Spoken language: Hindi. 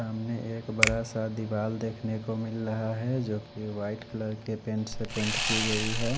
सामने एक बड़ा सा दीवाल देखने को मिल रहा है जो कि व्हाईट कलर के पैंट से पैंट की गई है।